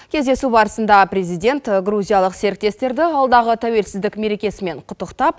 кездесу барысында президент грузиялық серіктестерді алдағы тәуелсіздік мерекесімен құттықтап